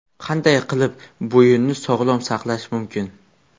Qanday qilib bo‘yinni sog‘lom saqlash mumkin?.